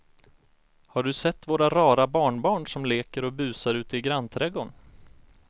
Har du sett våra rara barnbarn som leker och busar ute i grannträdgården!